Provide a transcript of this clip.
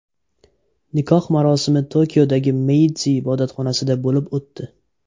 Nikoh marosimi Tokiodagi Meydzi ibodatxonasida bo‘lib o‘tdi.